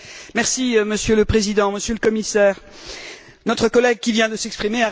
Monsieur le Président, Monsieur le Commissaire, notre collègue qui vient de s'exprimer a raison.